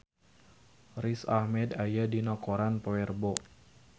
Riz Ahmed aya dina koran poe Rebo